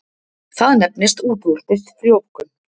Það nefnist útvortis frjóvgun.